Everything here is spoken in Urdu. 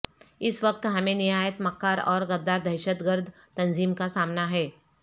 اس وقت ہمیں نہایت مکار اور غدار دہشت گرد تنظیم کا سامنا ہے